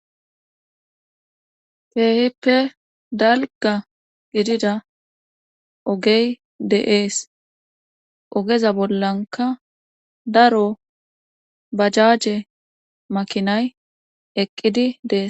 Teehippe dalga gidida ogey de'ees ogeza bollanka daro bajaje makinay eqqidi dees.